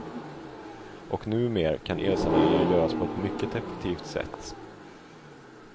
Och numer kan elsaneringar göras på ett mycket effektivt sätt.